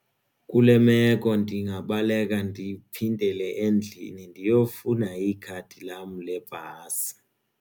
Kule meko ndingabaleka ndiphindele endlini ndiyofuna ikhadi lam lebhasi.